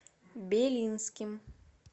белинским